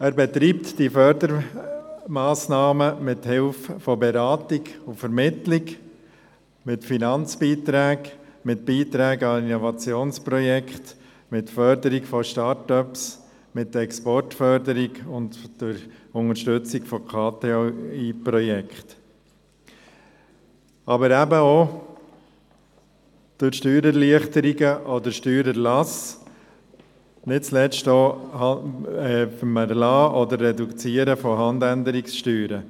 Er betreibt die Fördermassnahmen mithilfe von Beratung und Vermittlung, mit Finanzbeiträgen, mit Beiträgen an Innovationsprojekte, mit der Förderung von Start-ups, mit Exportförderung und durch Unterstützung von KTI-Projekten, aber eben auch durch Steuererleichterungen oder Steuererlasse, nicht zuletzt auch mit dem Erlassen oder Reduzieren von Handänderungssteuern.